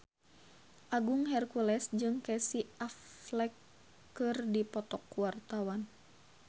Agung Hercules jeung Casey Affleck keur dipoto ku wartawan